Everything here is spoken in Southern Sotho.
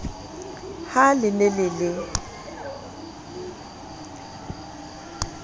ha le ne le le